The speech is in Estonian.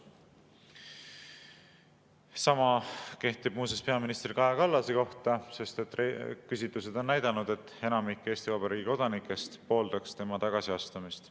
Sama kehtib muuseas peaminister Kaja Kallase kohta, sest küsitlused on näidanud, et enamik Eesti Vabariigi kodanikest pooldab tema tagasiastumist.